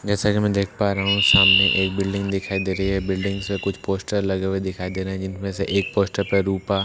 जैसा की मैं देख पा रहा हूँ सामने एक बिल्डिंग दिखाई दे रही है बिल्डिंग्स में कुछ पोस्टर लगे हुए दिखाई दे रहे है जिनमें से एक पोस्टर पे रूपा --